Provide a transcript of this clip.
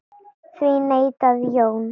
Því neitaði Jón.